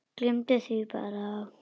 Gleymdi því bara.